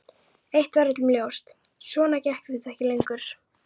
Eitt var öllum ljóst: Svona gekk þetta ekki lengur.